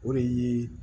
O de ye